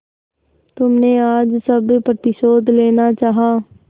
तुमने आज सब प्रतिशोध लेना चाहा